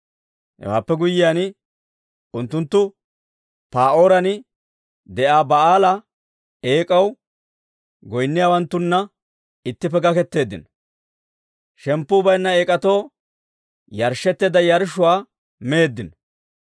Hewaappe guyyiyaan, unttunttu Pa'ooran de'iyaa Ba'aala eek'aw, goyinniyaawanttunna ittippe gakketeeddino; shemppuu bayinna eek'atoo yarshshetteedda yarshshuwaa meeddino.